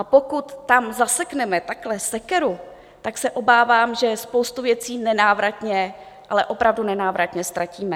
A pokud tam zasekneme takhle sekeru, tak se obávám, že spoustu věcí nenávratně, ale opravdu nenávratně ztratíme.